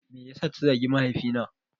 Me yasa ta zagi mahaifi na?